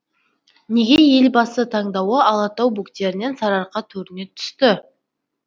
неге елбасы таңдауы алатау бөктерінен сарыарқа төріне түсті